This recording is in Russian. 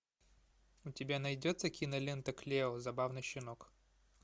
у тебя найдется кинолента клео забавный щенок